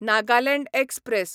Nagaland express